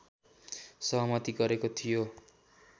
सहमति गरेको थियो